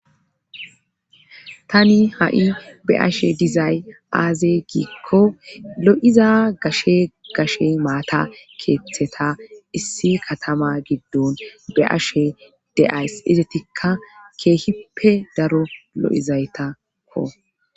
Tani ha'i be ashe dizay aaze giikko lo'iza gashe gashe maata keeththeta issi katama giddon be ashe de'ayss izatikka keehippe daro lo'izaytakko.